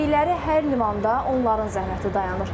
Getdikləri hər limanda onların zəhməti dayanır.